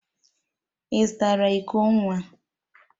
Ị zụtara iko nwa?